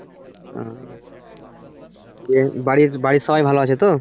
উহ ঠিক আছে বাড়ির বাড়ির সবাই ভালো আছে তো